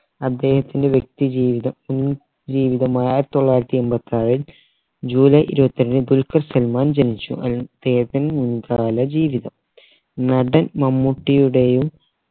അദ്ദേഹത്തിൻറെ വ്യക്തി ജീവിതം ഇ ജീവിതം ആയിരത്തി തൊള്ളായിരത്തി എമ്പത് നാലിൽ ജൂലൈ ഇരുവത്തെട്ടിന് ദുൽഖർ സൽമാൻ ജനിച്ചു അദ്ദേഹത്തിൻറെ മുൻകാല ജീവിതം നടൻ മമ്മൂട്ടിയുടേയും